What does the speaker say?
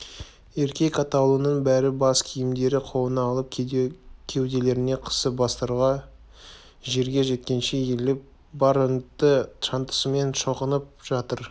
еркек атаулының бәрі бас киімдерін қолына алып кеуделеріне қысып бастары жерге жеткенше иіліп бар ынты-шынтасымен шоқынып жатыр